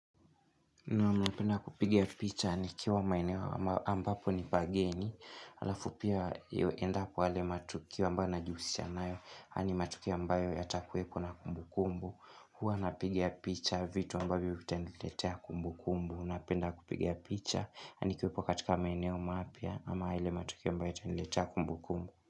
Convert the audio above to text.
Na napenda kupiga picha nikiwa maeneo ambapo nipageni halafu pia yu endapo yale matukio ambayo najihusisha nayo haya ni matukio ambayo yatakueko na kumbukumbu huwa napiga picha vitu ambavyo vitaniletea kumbukumbu Napenda kupiga picha na nikiwepo katika maeneo mapya ama yale matukio ambayo yataniletea kumbu kumbu.